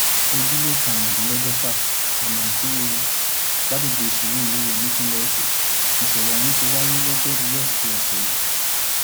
ojúlé karùndínlọgọfà ọnà ìtìrẹrẹ lágbègbè surulere nípínlẹ èkó nìṣẹlẹ ohun tí wáyé lojoruu wesidee ọsẹ yìí